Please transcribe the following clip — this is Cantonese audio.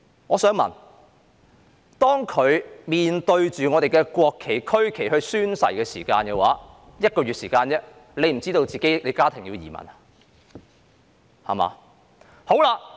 我想問，她在1個月前面對我們的國旗和區旗宣誓時，難道不知道她和家人要移民嗎？